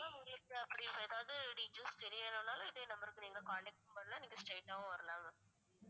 ma'am உங்களுக்கு அப்படி எதாவது details தெரியணும்னாலும் இதே number க்கு நீங்க contact பண்ணலாம் நீங்க straight ஆவும் வரலாம் ma'am